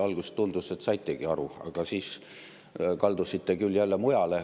Alguses tundus, et saitegi aru, aga siis kaldusite küll jälle mujale.